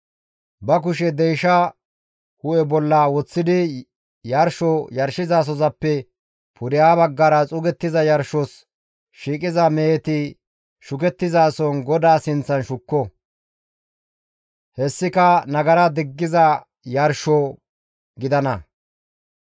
Ba kushe deyshaa hu7e bolla woththidi yarsho yarshizasozappe pudeha baggara xuugettiza yarshos shiiqiza meheti shukettizason GODAA sinththan shukko. Hessika nagara diggiza yarsho gidana.